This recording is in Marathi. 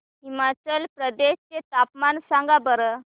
हिमाचल प्रदेश चे तापमान सांगा बरं